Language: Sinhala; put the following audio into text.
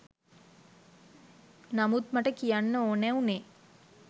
නමුත් මට කියන්න ඕනෑ උනේ